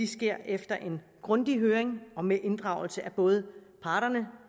sker efter en grundig høring og med inddragelse af både parterne